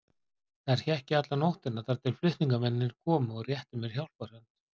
Þar hékk ég alla nóttina þar til flutningamennirnir komu og réttu mér hjálparhönd.